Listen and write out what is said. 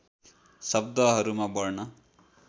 शब्दहरूमा वर्ण